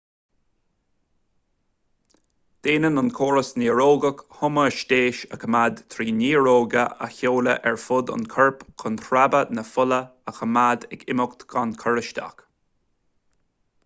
déanann an córas néarógach hoiméastáis a choimeád trí néar-ríoga a sheoladh ar fud an choirp chun sreabhadh na fola a choimeád ag imeacht gan chur isteach